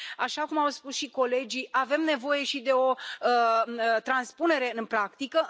Așa cum au spus și colegii, avem nevoie și de o transpunere în practică.